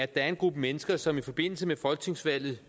der er en gruppe mennesker som i forbindelse med folketingsvalget